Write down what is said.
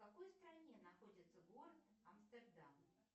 в какой стране находится город амстердам